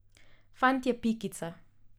Fant je pikica.